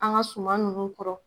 An ga suman nunnu kɔrɔ